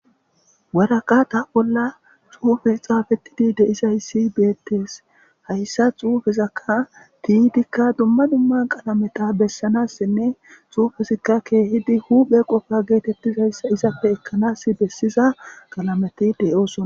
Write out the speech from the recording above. Waraqata bolla xuufe xaafetidi deizayssi beettees hayssa xuufezakka tiitikka dumma dumma qalameta bessanassinne xuufesakka keehidi huphe qofa geetettizayssa izapfe ekkanas bessiza qalameti deyosona